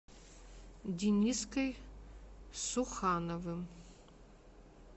дениской сухановым